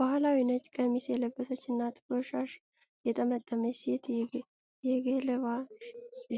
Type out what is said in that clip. ባህላዊ ነጭ ቀሚስ የለበሰች እና ጥቁር ሻሽ የጠመጠመች ሴት የ ገለባ